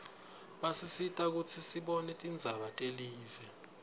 basisita kutsi sibone tindzaba telive